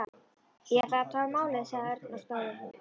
Ég ætla að athuga málið, sagði Örn og stóð upp.